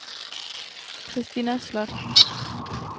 Christina Slot